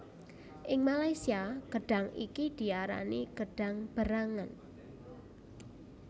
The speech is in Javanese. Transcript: Ing Malaysia gedhang iki diarani gedhang berangan